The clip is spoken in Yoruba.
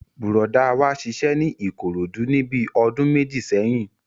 Bùrọ̀dá wa ṣiṣẹ́ ní Ìkòròdú níbi ọdún méjì sẹ́yìn